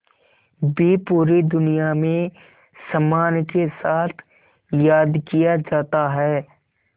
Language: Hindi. भी पूरी दुनिया में सम्मान के साथ याद किया जाता है